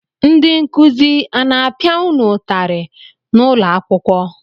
Ndị nkụzi a na-apịa unu ụtarị n'ụlọakwụkwọ?